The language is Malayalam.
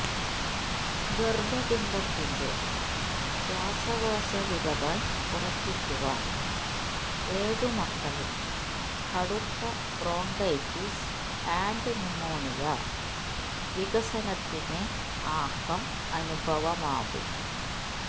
ഗര്ഭപിണ്ഡത്തിന്റെ ശ്വാസകോശ വിരകൾ ഉറപ്പിക്കുവാൻ ഏഴുമക്കളിൽ കടുത്ത ബ്രോങ്കൈറ്റിസ് ആൻഡ് ന്യുമോണിയ വികസനത്തിന് ആക്കം അനുഭവമാകും